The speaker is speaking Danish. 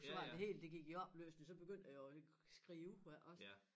Så var det hele det gik i opløsning så begyndte jeg jo skrive også